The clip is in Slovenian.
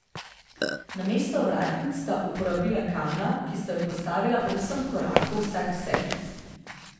Namesto vratnic sta uporabila kamna, ki sta ju postavila osem korakov vsaksebi.